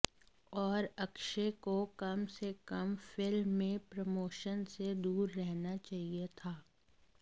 और अक्षय को कम से कम फिल्म के प्रमोशन से दूर रहना चाहिए था